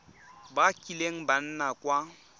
ba kileng ba nna kwa